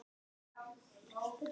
Klara, Hjörtur og börn.